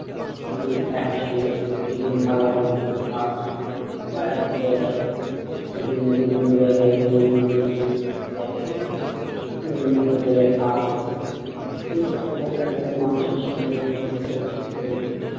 উম একই সঙ্গে টিফিন ভাগাভাগি করে খাওয়া হলো বা একই জায়গায় টিফিনে বিভিন্ন যায়গায় গিয়ে বিভিন্ন কিছু কিছু যায়গায় গিয়ে বিভিন্ন হোটেলে খাওয়া হলো এই করতে করতে বিভিন্ন মানুষের সঙ্গে দিনে দিন পরিচিতি তৈরী হলো।